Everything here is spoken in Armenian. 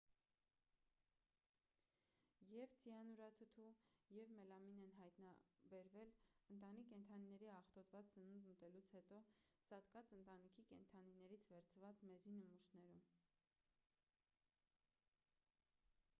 եվ ցիանուրաթթու և մելամին են հայտնաբերվել ընտանի կենդանիների աղտոտված սնունդ ուտելուց հետո սատկած ընտանի կենդանիներից վերցված մեզի նմուշներում